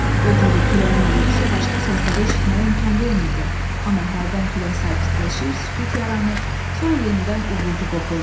Doğrudur, küləyin uğultusu başqa səsləri eşitməyə imkan vermirdi, amma hərdən külək sakitləşir, sükut yaranır, sonra yenidən uğultu qopurdu.